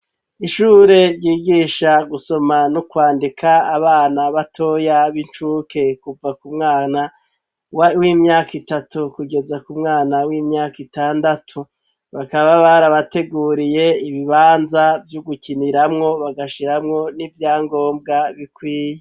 Ishure ryigisha gusoma no kwandika abana batoya b'incuke kuva ku mwana w'imyaka itatu kugeza ku mwana w'imyaka itandatu bakaba barabateguriye ibibanza vy'ugukiniramwo bagashiramwo n'ivyangombwa bikwiye.